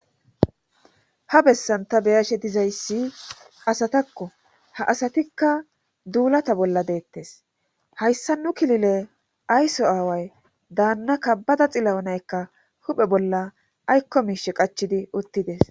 ha bessan ta beyashe dizayssi asatakko ha asatikka duulata bolla deettes hayssa nu kilile ayso aaway daanna kabbada xilla7o naykka huphe bolla aykko miishe qachidi uttides